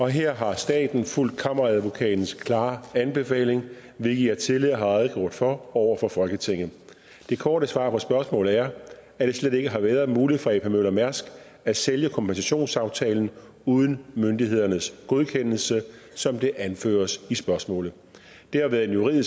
her har staten fulgt kammeradvokatens klare anbefaling hvilket jeg tidligere har redegjort for over for folketinget det korte svar på spørgsmålet er at det slet ikke har været muligt for ap møller mærsk at sælge kompensationsaftalen uden myndighedernes godkendelse som det anføres i spørgsmålet det har været en juridisk